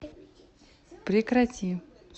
прекрати